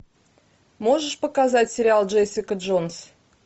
можешь показать сериал джессика джонс